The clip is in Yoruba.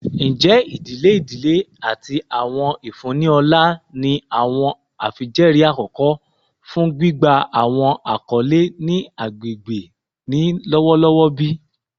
Njẹ idile idile ati awọn ifunni ọlá ni awọn afijẹẹri akọkọ fun gbigba awọn akọle ni agbegbe ni lọwọlọwọ bi?